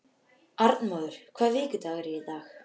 Arnmóður, hvaða vikudagur er í dag?